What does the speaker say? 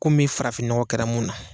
Komi farafin nɔgɔn kɛra mun na.